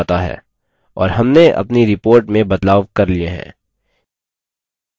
और हमने अपनी report में बदलाव कर लिए हैं